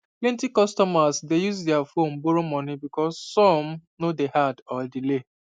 plenty customers dey use their phone borrow moni because some no day hard or delay